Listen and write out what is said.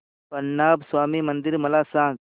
पद्मनाभ स्वामी मंदिर मला सांग